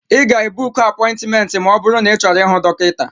Ị ga-ebuku apointmenti ma ọ bụrụ na ịchọrọ ịhụ dọkịta.